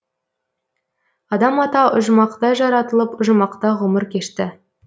адам ата ұжымақта жаратылып ұжымақта ғұмыр кешті